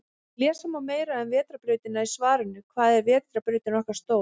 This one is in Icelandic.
Lesa má meira um Vetrarbrautina í svarinu Hvað er vetrarbrautin okkar stór?